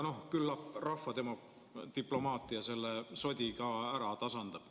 No küllap rahvadiplomaatia selle sodi ära tasandab.